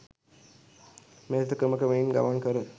මෙලෙස ක්‍රම ක්‍රමයෙන් ගමන් කර